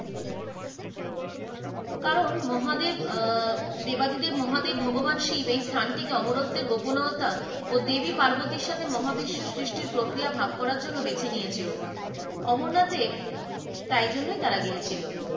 কারণ মহাদেব আহ দেবাদিদেব মহাদেব ভগবান শিব এই স্থানটিকে অমরত্বের গোপনতা ও দেবী পার্বতী সাথে মহাবিশ্বের সৃষ্টির প্রক্রিয়া ভাগ করার জন্য বেছে নিয়েছিল অমরনাথে তাই জন্য তারা গিয়েছিল।